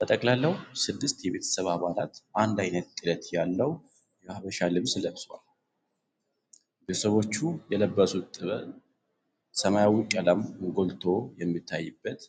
በጠቅላላው ስድስት የቤተሰብብብ አባላት አንድ አይነት ጥለት ያለው የሃበሻ ልብስ ለብሰው ቆመዋል። ቤተሰቦቹ የለበሱት ጥበብ ሰማያዊ ቀለም ጎልቶ የሚታይበት